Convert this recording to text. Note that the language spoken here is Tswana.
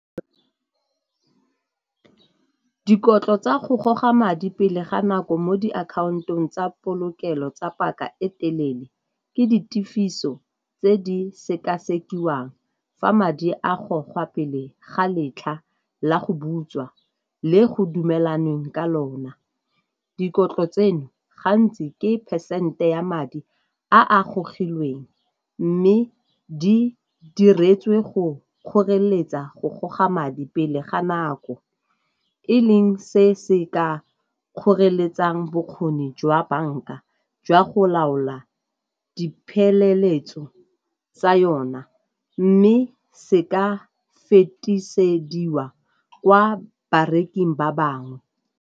Dikotlo tsa go goga madi pele ga nako mo diakhantong tsa polokelo tse paka e telele ke di tefiso tse di sekasekiwa jang fa madi a gogwa pele ga letlha la go butswa le go dumelanweng ka lona. Dikotlo tseno gantsi ke phesente ya madi a a gogilweng mme di diretswe go kgoreletsa go goga madi pele ga nako, e leng se se ka kgoreletsang bokgoni jwa banka jwa go laola dipheleletso tsa yona mme se ka fetisediwa kwa bareking ba bangwe.